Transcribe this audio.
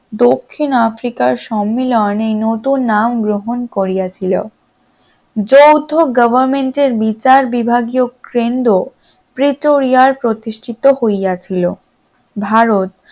দক্ষিণ আফ্রিকার সম্মেলনে নতুন নাম গ্রহণ করিয়াছিল, যৌথ government র বিচার বিভাগীয় কেন্দ্র প্রেটোরিয়ার প্রতিষ্ঠিত হইয়াছিল, ভারত